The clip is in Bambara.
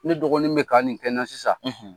Ni dɔgɔnin bɛ ka nin kɛ n na sisan